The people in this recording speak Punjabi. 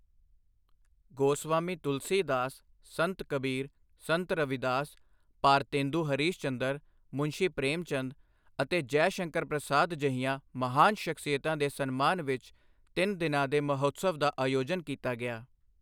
ਗੋਸਵਾਮੀ ਤੁਲਸੀ ਦਾਸ, ਸੰਤ ਕਬੀਰ, ਸੰਤ ਰਵੀਦਾਸ, ਭਾਰਤੇਂਦੂ ਹਰੀਸ਼ ਚੰਦਰ, ਮੁਨਸ਼ੀ ਪ੍ਰੇਮ ਚੰਦ ਅਤੇ ਜੈ ਸ਼ੰਕਰ ਪ੍ਰਸਾਦ ਜਿਹੀਆਂ ਮਹਾਨ ਸ਼ਖਸੀਅਤਾਂ ਦੇ ਸਨਮਾਨ ਵਿੱਚ ਤਿੰਨ ਦਿਨਾਂ ਦੇ ਮਹੋਤਸਵ ਦਾ ਆਯੋਜਨ ਕੀਤਾ ਗਿਆ।